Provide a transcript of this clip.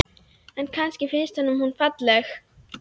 En kannski finnst honum hún falleg.